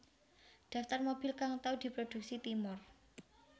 Daftar mobil kang tau diproduksi Timor